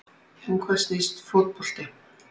Um hvað snýst fótbolti?